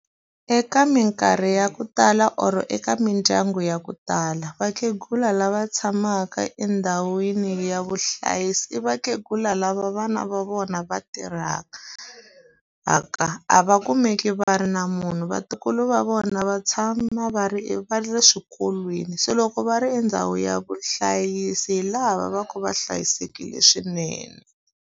Eka minkarhi ya ku tala or eka mindyangu ya ku tala, vakhegula lava tshamaka endhawini ya vuhlayisi i vakhegula lava vana va vona va tirhaka . A va kumeki va ri na munhu vatukulu va vona va tshama va ri va ri eswikolweni, se loko va ri e ndhawu ya vuhlayisi hi laha va va ka va hlayisekile swinene.